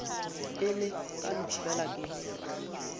ile ka no fela ke